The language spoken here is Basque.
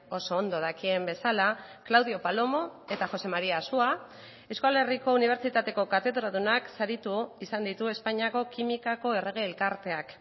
oso ondo dakien bezala claudio palomo eta josé maría asua euskal herriko unibertsitateko katedradunak saritu izan ditu espainiako kimikako errege elkarteak